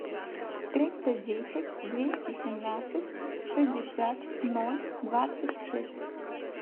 триста десять двести семнадцать шестьдесят ноль двадцать шесть